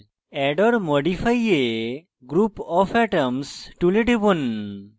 add or modify a group of atoms tool টিপুন